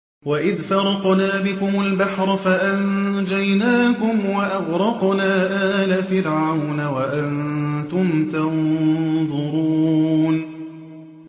وَإِذْ فَرَقْنَا بِكُمُ الْبَحْرَ فَأَنجَيْنَاكُمْ وَأَغْرَقْنَا آلَ فِرْعَوْنَ وَأَنتُمْ تَنظُرُونَ